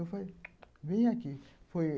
Eu falei (onomatopeia), vem aqui.